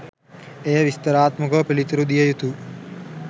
එය විස්තරාත්මකව පිළිතුරු දිය යුතු